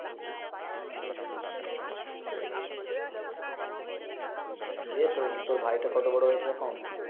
সেই দে তোর, তোর ভাইটা কত বড় হয়েছে এখন?